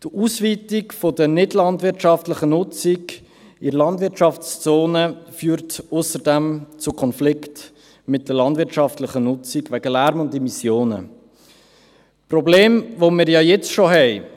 Die Ausweitung der nichtlandwirtschaftlichen Nutzung in der Landwirtschaftszone führt ausserdem wegen Lärm und Immissionen zu Konflikten mit der landwirtschaftlichen Nutzung – Probleme, die wir ja jetzt schon haben.